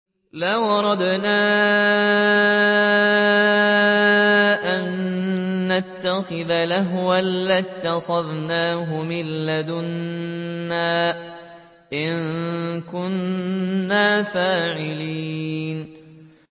لَوْ أَرَدْنَا أَن نَّتَّخِذَ لَهْوًا لَّاتَّخَذْنَاهُ مِن لَّدُنَّا إِن كُنَّا فَاعِلِينَ